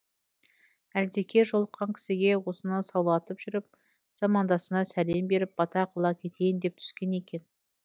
әлдекей жолыққан кісіге осыны саулатып жүріп замандасына сәлем беріп бата қыла кетейін деп түскен екен